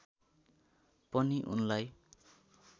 पनि उनलाई